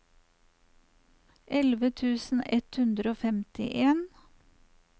elleve tusen ett hundre og femtien